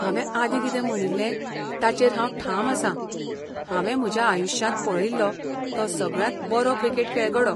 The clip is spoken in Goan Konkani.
हांवें आदीं कितें म्हणिल्लें ताचेर हांव ठाम आसां, हांवें म्हज्या आयुश्यांत पळयिल्लो तो सगळ्यांत बरो क्रिकेट खेळगडो.